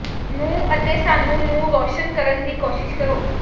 ਨੂੰ ਅਤੇ ਸਾਨੂੰ ਨੂੰ ਰੌਸ਼ਨ ਕਰਨ ਦੀ ਕੋਸ਼ਿਸ਼ ਕਰੋ